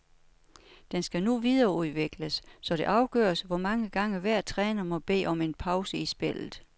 Den skal nu videreudvikles, så det afgøres, hvor mange gange hver træner må bede om en pause i spillet.